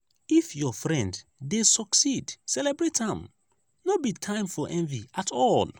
if your friend dey succeed celebrate am; no be time for envy at all.